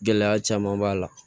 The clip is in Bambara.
Gɛlɛya caman b'a la